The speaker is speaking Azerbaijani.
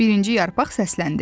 Birinci yarpaq səsləndi.